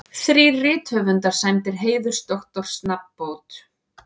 Þrír rithöfundar sæmdir heiðursdoktorsnafnbót